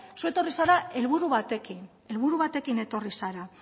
zu etorri zara helburu batekin helburu batekin etorri zara